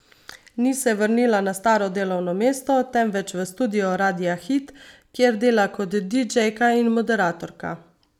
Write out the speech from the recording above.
Ni se vrnila na staro delovno mesto, temveč v studio Radia Hit, kjer dela kot didžejka in moderatorka.